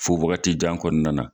Fo wagati jan kɔnɔna